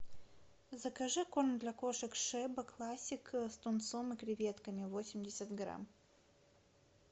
закажи корм для кошек шеба классик с тунцом и креветками восемьдесят грамм